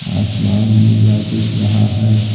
आसमान नीला दिख रहा है।